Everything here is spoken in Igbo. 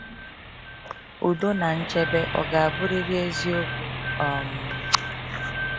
Udo na nchebe ọ ga-abụrịrị eziokwu? um